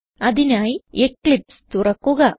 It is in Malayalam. അതിനായി എക്ലിപ്സ് തുറക്കുക